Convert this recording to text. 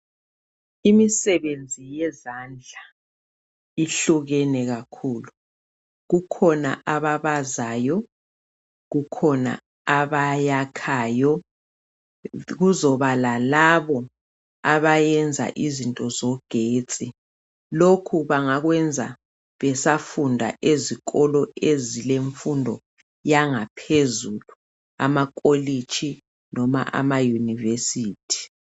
Imisebenzi yezandla ihlukene kakhulu .Kukhona ababazayo ,kukhona abayakhayo kuzoba lalabo abayenza izinto zogetsi .Lokhu bangakwenza besafunda ezikolo ezilemfundo yangaphezulu .Amakolitshi noma ama university